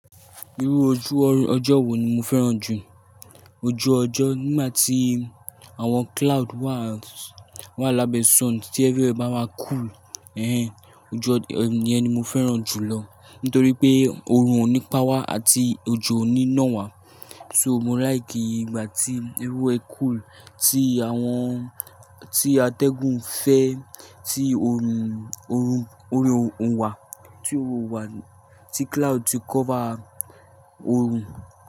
Irú ọjọ́ wo ni o fẹ́ràn jù? Ojú ọjọ́ nígbà tí àwọn cloud wà, wà lábẹ́ sun, tí everywhere bá wáa cool, ẹnhẹn ojú ọjọ́ ìyẹni ni mo fẹ́ràn jùlọ. Nítorí pé orun ò ní páwá àti ojo ò ní ná wá. So mo like ìgbà tí everywhere cool, tí àwọn, tí atẹ́gùn fẹ́, tí orun, oru o mu wà, tí òrò wà, tí cloud ti cover orun.